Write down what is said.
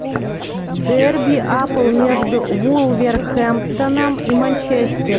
дерби апл между вулверхэмптоном и манчестер